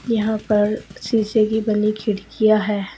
यहां पर शीशे की बनी खिड़कियां हैं।